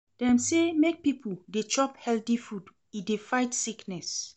Dem sey make pipo dey chop healthy food, e dey fight sickness.